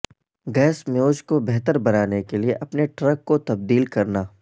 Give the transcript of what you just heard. gas mileage کو بہتر بنانے کے لئے اپنے ٹرک کو تبدیل کرنا